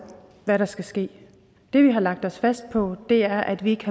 hvad der skal ske det vi har lagt os fast på er at vi ikke